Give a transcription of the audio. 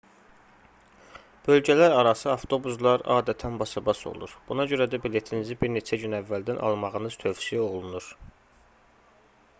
bölgələrarası avtobuslar adətən basabas olur buna görə də biletinizi bir neçə gün əvvəldən almağınız tövsiyə olunur